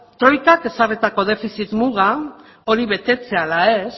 troikak ezarritako defizit muga hori betetzea ala ez